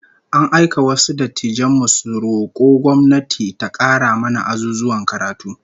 An aika wasu dattijan mu su roko gwamnati ta kara mana azuzuwan karatu